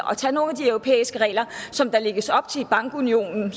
tage nogle af de europæiske regler som der lægges op til i bankunionen